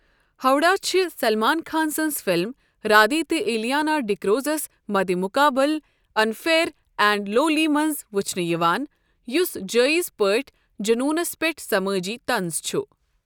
ہوڈا چھِ سلمان خان سنٛز فلم رادھے تہٕ الیانا ڈی کروزَس مدِمقابل انفیئر اینڈ لولی منٛز وُچھنہٕ یِوان یُس جایز پٲٹھۍ جنوٗنَس پٮ۪ٹھ سمٲجی طنز چھُ۔